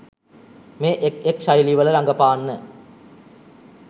මේ එක් එක් ශෛලිවල රඟපාන්න.